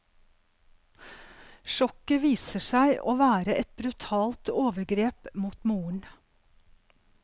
Sjokket viser seg å være et brutalt overgrep mot moren.